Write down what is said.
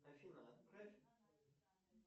афина отправь